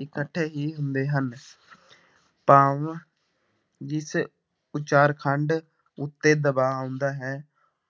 ਇਕੱਠੇ ਹੀ ਹੁੰਦੇ ਹਨ ਭਾਵ ਜਿਸ ਉਚਾਰਖੰਡ ਉੱਤੇ ਦਬਾਅ ਆਉਂਦੇ ਹੈ,